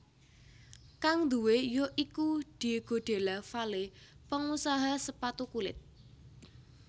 Kang duwé ya iku Diego Della Valle pengusaha sepatu kulit